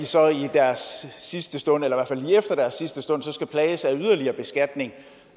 så i deres sidste stund eller i efter deres sidste stund skal plages af yderligere beskatning